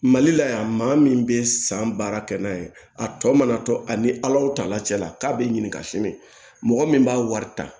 Mali la yan maa min bɛ san baara kɛ n'a ye a tɔ mana to ani alaw tala cɛla k'a bɛ ɲininka sini mɔgɔ min b'a wari ta